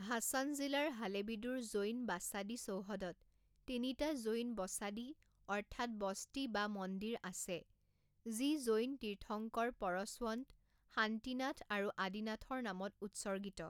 হাছান জিলাৰ হালেবিডুৰ জৈন বাসাদী চৌহদত তিনিটা জৈন বসাদী অৰ্থাৎ বস্তি বা মন্দিৰ আছে যি জৈন তীৰ্থংকৰ পৰশৱন্ত, শান্তিনাথ আৰু আদিনাথৰ নামত উৎসৰ্গিত।